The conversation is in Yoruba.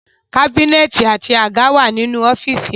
Kábínẹ̀tì àti àga wà nínú ọ́fíìsì náà